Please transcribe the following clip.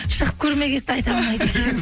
шығып көрмегесін айта алмайды